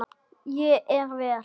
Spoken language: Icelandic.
Ég er vél.